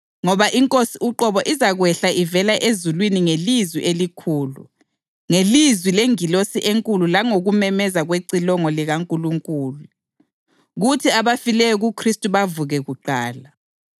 Ngoba iNkosi uqobo izakwehla ivela ezulwini ngelizwi elikhulu, ngelizwi lengilosi enkulu langokumemeza kwecilongo likaNkulunkulu, kuthi abafileyo kuKhristu bavuke kuqala.